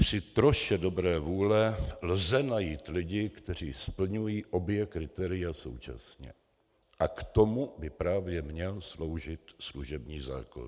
Při troše dobré vůle lze najít lidi, kteří splňují obě kritéria současně, a k tomu by právě měl sloužit služební zákon.